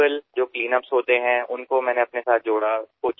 तेथील स्थानिक स्वच्छता करणाऱ्यांनाही मी माझ्यासोबत घेतले